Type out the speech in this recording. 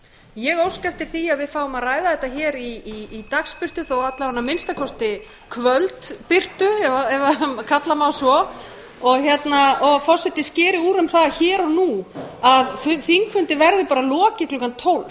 ég óska eftir því að við fáum að ræða þetta hér í dagsbirtu þó alla vega að minnsta kosti kvöldbirtu ef kalla má svo og forseti skeri úr um það hér og nú að þingfundi verði bara lokið klukkan tólf